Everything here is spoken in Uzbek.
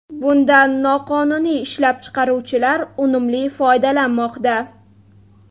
Bundan noqonuniy ishlab chiqaruvchilar unumli foydalanmoqda.